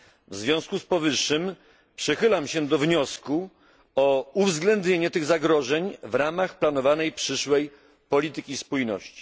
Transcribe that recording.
W związku z powyższym przychylam się do wniosku o uwzględnienie tych zagrożeń w ramach planowanej przyszłej polityki spójności.